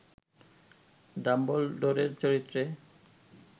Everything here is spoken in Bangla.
ডাম্বলডোরের চরিত্রে